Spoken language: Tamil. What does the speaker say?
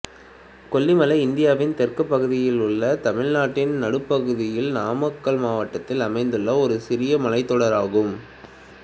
கொல்லி மலை இந்தியாவின் தெற்கு பகுதியில் உள்ள தமிழ்நாட்டின் நடுப்பகுதியில் நாமக்கல் மாவட்டத்தில் அமைந்துள்ள ஒரு சிறிய மலைத்தொடராகும்